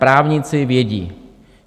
Právníci vědí.